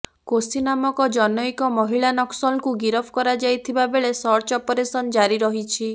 କୋସି ନାମକ ଜନୈକ ମହିଳା ନକ୍ସଲଙ୍କୁ ଗିରଫ କରାଯାଇଥିବା ବେଳେ ସର୍ଚ୍ଚ ଅପରେସନ୍ ଜାରି ରହିଛି